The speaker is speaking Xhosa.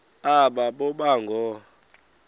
aba boba ngoo